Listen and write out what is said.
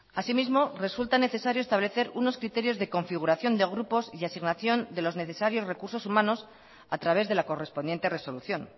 asimismo resulta necesario establecer unos criterios de configuración de grupos y asignación de los necesarios recursos humanos a través de la correspondiente resolución